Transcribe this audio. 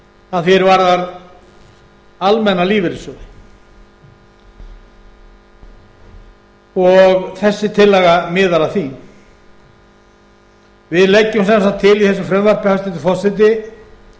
að því er varðar almenna lífeyrissjóði og þessi tillaga miðar að því við leggjum sem sagt til í þessu frumvarpi hæstvirtur forseti